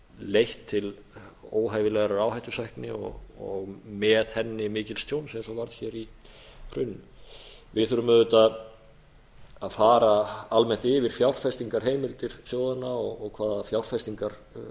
leitt til óhæfilegrar áhættusækni og með henni mikils tjóns eins og varð hér í hruninu við þurfum auðvitað að fara almennt yfir fjárfestingarheimildir sjóðanna og